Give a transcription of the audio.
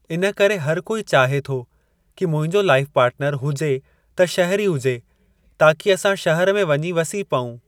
इन करे हर कोई चाहे थो कि मुंहिंजो लाइफ़ पार्टनरु हुजे त शहरी हुजे ताकि असां शहर में वञी वसी पऊं।